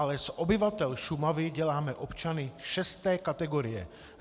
Ale z obyvatel Šumavy děláme občany šesté kategorie.